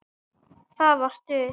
Það var stuð!